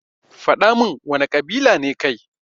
Fadamin wana kabila ne kai.